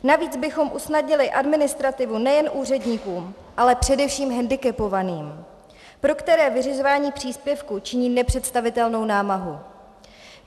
Navíc bychom usnadnili administrativu nejen úředníkům, ale především hendikepovaným, pro které vyřizování příspěvku činí nepředstavitelnou námahu.